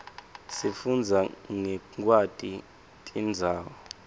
sifunbza nqekwaiti tirbzawo